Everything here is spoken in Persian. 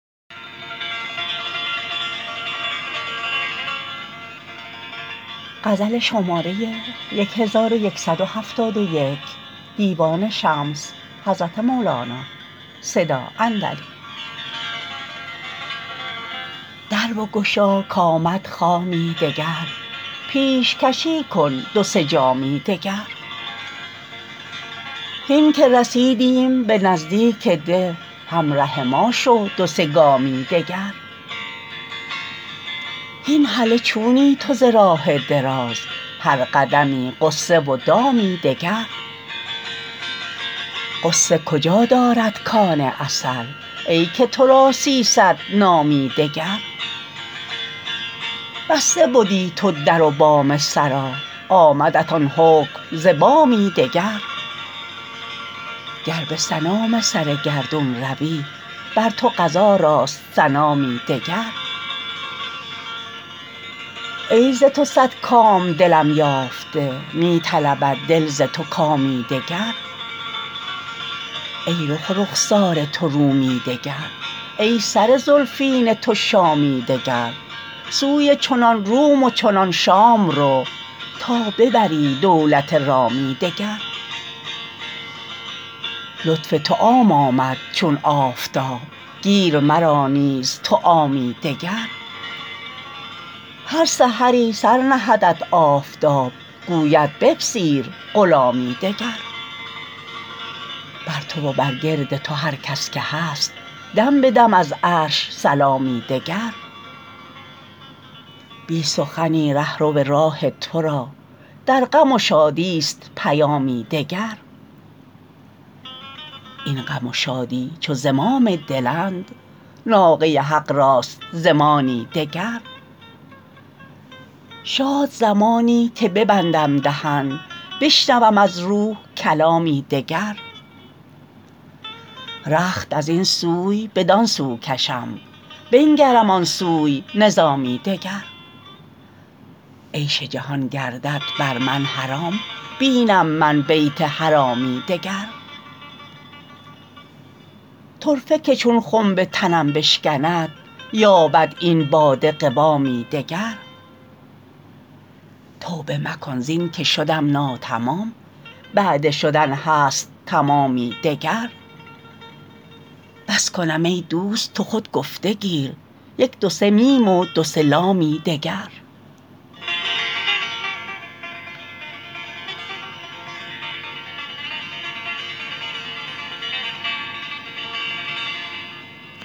در بگشا کآمد خامی دگر پیشکشی کن دو سه جامی دگر هین که رسیدیم به نزدیک ده همره ما شو دو سه گامی دگر هین هله چونی تو ز راه دراز هر قدمی غصه و دامی دگر غصه کجا دارد کان عسل ای که تو را سیصد نامی دگر بسته بدی تو در و بام سرا آمدت آن حکم ز بامی دگر گر به سنام سر گردون روی بر تو قضا راست سنامی دگر ای ز تو صد کام دلم یافته می طلبد دل ز تو کامی دگر ای رخ و رخسار تو رومی دگر ای سر زلفین تو شامی دگر سوی چنان روم و چنان شام رو تا ببری دولت رامی دگر لطف تو عام آمد چون آفتاب گیر مرا نیز تو عامی دگر هر سحری سر نهدت آفتاب گوید بپذیر غلامی دگر بر تو و برگرد تو هر کس که هست دم به دم از عرش سلامی دگر بی سخنی ره رو راه تو را در غم و شادیست پیامی دگر این غم و شادی چو زمام دلند ناقه حق راست زمامی دگر شاد زمانی که ببندم دهن بشنوم از روح کلامی دگر رخت از این سوی بدان سو کشم بنگرم آن سوی نظامی دگر عیش جهان گردد بر من حرام بینم من بیت حرامی دگر طرفه که چون خنب تنم بشکند یابد این باده قوامی دگر توبه مکن زین که شدم ناتمام بعد شدن هست تمامی دگر بس کنم ای دوست تو خود گفته گیر یک دو سه میم و دو سه لامی دگر